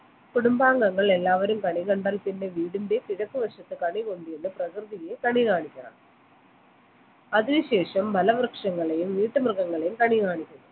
കുടുംബാംഗങ്ങൾ എല്ലാവരും കണി കണ്ടാൽ പിന്നെ വീടിന്റെ കിഴക്കുവശത്ത് കണി കൊണ്ടുവന്ന പ്രകൃതിയെ കാണിക്കണം അതിനുശേഷം ഫലവൃക്ഷങ്ങളെയും വീട്ടു മൃഗങ്ങളെയും കണി കാണിക്കണം